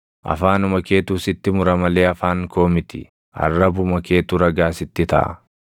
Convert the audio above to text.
Afaanuma keetu sitti mura malee afaan koo miti; arrabuma keetu ragaa sitti taʼa.